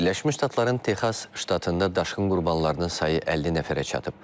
Birləşmiş Ştatların Texas ştatında daşqın qurbanlarının sayı 50 nəfərə çatıb.